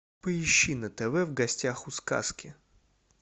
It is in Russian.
поищи на тв в гостях у сказки